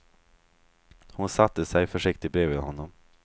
Hon satte sig försiktigt bredvid honom.